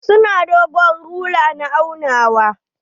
Su na dogon rula na aunawa.